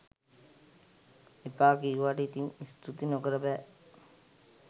එපා කිව්වාට ඉතින් ස්තූති නොකර බෑ